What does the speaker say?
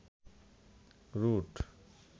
root